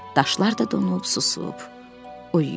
Daşlar da donub, susub, uyuyub.